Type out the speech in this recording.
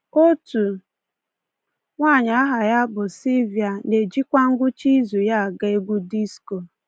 Otu nwanyị aha ya bụ Silvia na-ejikwa ngwụcha izu ya aga egwu disko.